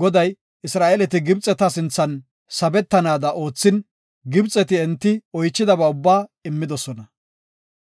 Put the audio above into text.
Goday, Isra7eeleti Gibxeta sinthan sabetanaada oothin, Gibxeti enti oychidaba ubbaa immidosona.